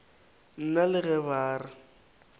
nna le ge ba re